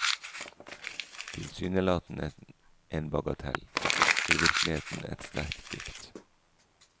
Tilsynelatende en bagatell, i virkeligheten et sterkt dikt.